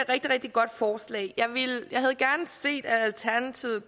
rigtig rigtig godt forslag jeg havde gerne set at alternativet